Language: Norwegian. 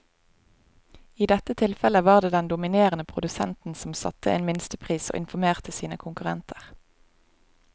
I dette tilfellet var det den dominerende produsenten som satte en minstepris og informerte sine konkurrenter.